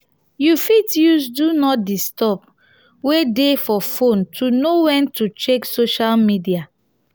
you fit use do not disturb wey dey for phone to know when to check social media